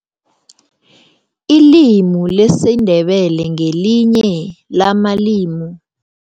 Ilimi lesiNdebele ngelinye lamalimi